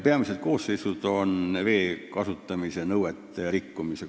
Peamised koosseisud seisnevad vee kasutamise nõuete rikkumises.